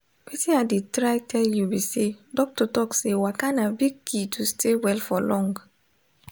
wetin i dey try tell you be say doctor talk say waka na big key to stay well for long.